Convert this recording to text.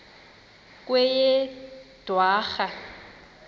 kweyedwarha